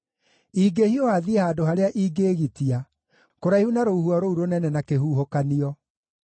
ingĩhiũha thiĩ handũ harĩa ingĩĩgitia, kũraihu na rũhuho rũu rũnene na kĩhuhũkanio.”